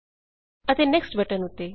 ਅਤੇ next next button ਉੱਤੇ